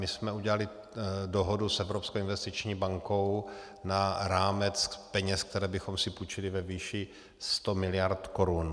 My jsme udělali dohodu s Evropskou investiční bankou na rámec peněz, které bychom si půjčili, ve výši 100 mld. korun.